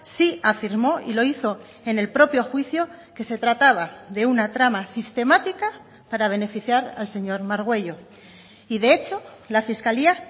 sí afirmó y lo hizo en el propio juicio que se trataba de una trama sistemática para beneficiar al señor margüello y de hecho la fiscalía